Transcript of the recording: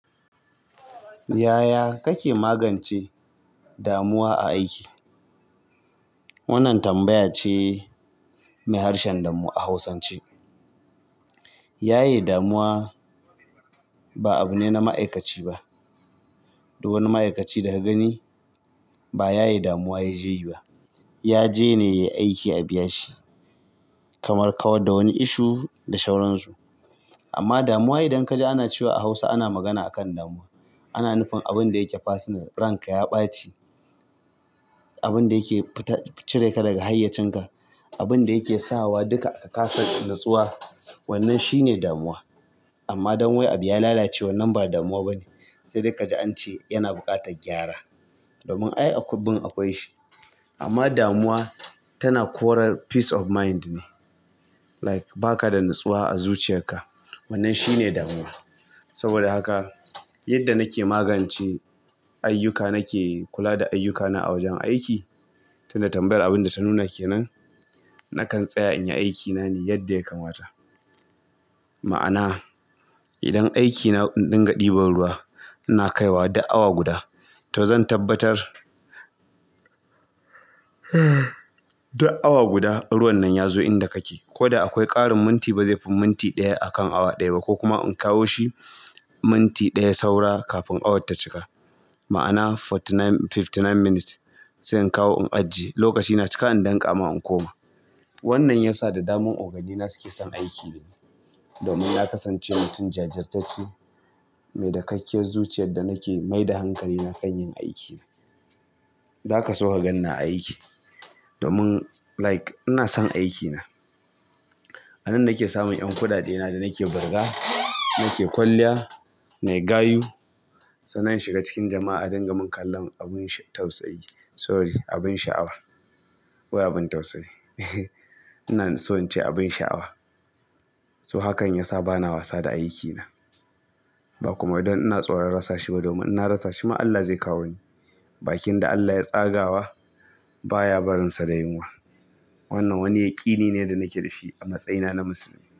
Yaya kake magance damuwa a aiki? Wannan tambaya ce mai harshen damo a hausance. Yaye damuwa ba abune na ma'aikaci ba. Da wani ma'aikaci daga gani ba ya yi damuwa ya je yi ba. Ya je ne ya yi aiki a biya shi. Kamar kawar da wani ishu da sauransu. Amma damuwa idan ka ji ana cewa a Hausa ana magana akan damuwa, ana nufin abin da yake personal ranka ya ɓaci. Abin da yake cire ka daga hayyacinka. Abin da yake sa wa duka a kasa natsuwa. Wannan shi ne damuwa. Amma don wai abu ya lalace wannan ba damuwa bane. Sai dai ka ji an ce yana buƙatar gyara. Domin ie a kubbun akwai shi amma damuwa tana kora peace of mind ne. Like baka da natsuwa a zuciyarka. Wannan shine damuwa saboda haka yadda nake magance ayyuka nake kula da ayyukana a wajen aiki. Tunda tambayar abin da ta nuna ke nan, nakan tsaya in yi aikina ne yadda ya kamata. Ma'ana idan aikina in ɗinga ɗiban ruwa ina kaiwa duk awa guda. To zan tabbatar duk awa guda ruwan nan ya zo inda kake. Ko da akwai ƙarin minti ba zai fi minti ɗaya akan awa ɗaya ba. Ko kuma in kawo shi minti ɗaya saura kafin awar ta cika. Ma'ana forty nine-- fifty nine minutes sai in kawo in ajjiye. Lokaci na cika in danka ma in koma. Wannan ya sa da dama ogogina suke son aiki da ni. Domin na kasance mutum jajirtacce, mai dakakkiyar zuciyar da nake maida hankali na kan yin aikina. Zaka so ka gan ni a aiki. Domin like ina son aikina. A nan nake samun ƴan kuɗaɗe na da nake birga, nake kwalliya, nayi gayu. Sannan in shiga cikin jama'a adinga murna tara h; (k me(p sorry abin sha'awa. Wai abin tausayi. Ina so in ce abin sha'awa. So hakan ya sa bana wasa da aikina. Ba kuma idan ina tsoron rasa shi ba domin ina rasa shi ma Allah zai kawo ni. Bakin da Allah ya tsagawa baya barinsa da yunwa. Wannan wani yaƙini ne da nake da shi a matsayina na musulmi.